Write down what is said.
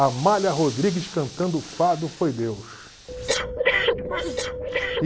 Amália Rodrigues cantando o fado Foi Deus.